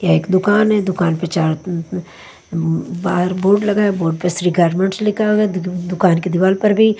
यह एक दुकान है दुकान पर चार अ बाहर बोर्ड लगा है बोर्ड पर श्री गार्डमेंट्स लिखा हुआ है अ दुकान की दीवार पर भी--